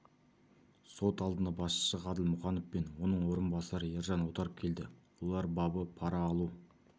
сот алдына басшысы ғаділ мұқанов пен оның орынбасары ержан отаров келді олар бабы пара алу